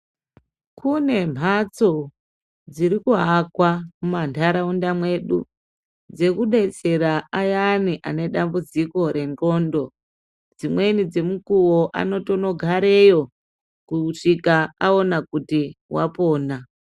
Kune mhatso dziri kuakwa mumanharaunda mwedu dzekudetsera ayani ane dambudziko rwndxondo dzimweni dzemukuwo anotonogareyo kusvika awona kuti wapona.